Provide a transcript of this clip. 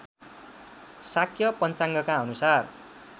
शाक्य पञ्चाङ्गका अनुसार